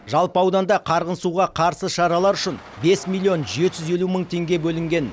жалпы ауданда қарғын суға қарсы шаралар үшін бес миллион жеті жүз елу мың теңге бөлінген